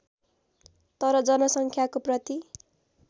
तर जनसङ्ख्याको प्रति